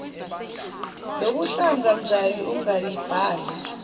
lokuhlanza njall ungayibali